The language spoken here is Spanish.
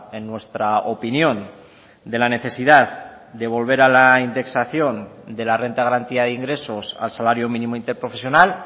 en nuestra opinión de la necesidad de volver a la indexación de la renta de garantía de ingresos al salario mínimo interprofesional